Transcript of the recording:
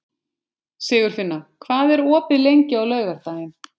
Sigurfinna, hvað er opið lengi á laugardaginn?